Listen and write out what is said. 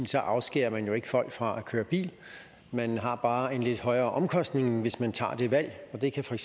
så afskærer folk fra at køre bil man har bare en lidt højere omkostning hvis man tager det valg og det kan så i